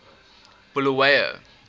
bulawayo